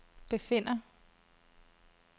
befinder